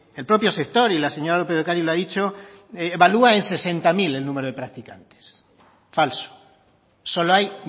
el propio sector y la señora lópez de ocariz lo ha dicho evalúa en sesenta mil el número de practicantes falso solo hay